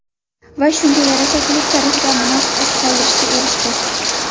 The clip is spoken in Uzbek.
Va shunga yarasha klub tarixida munosib iz qoldirishga erishdi.